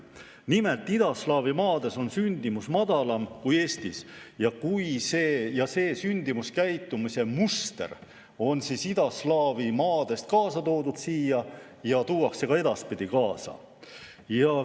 Nimelt, idaslaavi maades on sündimus madalam kui Eestis ja see sündimuskäitumise muster on idaslaavi maadest siia kaasa toodud ja see tuuakse ka edaspidi kaasa.